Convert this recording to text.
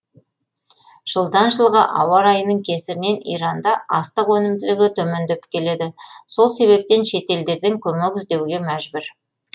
жылдан жылға ауа райының кесірінен иранда астық өнімділігі төмендеп келеді сол себептен шетелдерден көмек іздеуге мәжбүр